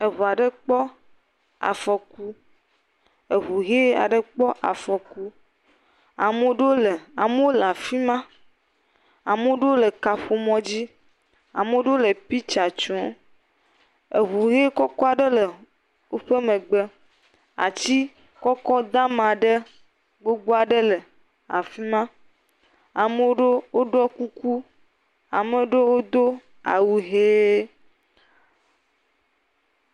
Eŋu aɖe kpɔ afɔku eŋu ʋi aɖe kpɔ afɔku, amodo, amewo le afi ma, ame aɖewo le kaƒomɔ dzi, amewo le piktsa tsom, eŋuʋi kɔkɔ aɖe le woƒe megbe. Ati kɔkɔ dama ɖe gbogbo aɖe le afi ma, ame aɖewo ɖɔ kɔkɔ, ame aɖewo do awu ʋe.